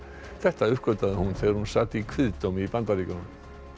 þetta uppgötvaði hún þegar hún sat í kviðdómi í Bandaríkjunum